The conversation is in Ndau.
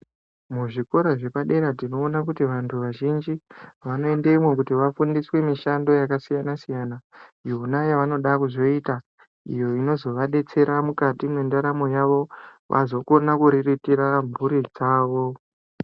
Muzvikora zvepadera tinoona kuti vantu vazhinji vanoendemwo kuti vafundiswe mishando yakasiyana -siyana iyo yavanoda kuzoita, iyo inozovadetsera mukati mwendaramo yavo, vazokona kuriritira mhuri dzavo.